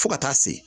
Fo ka taa se